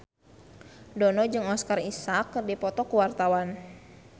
Dono jeung Oscar Isaac keur dipoto ku wartawan